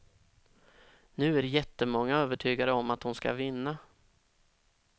Nu är jättemånga övertygade om att hon skall vinna.